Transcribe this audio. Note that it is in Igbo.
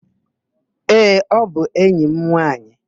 Ee, ọ bụ enyi m nwaanyị.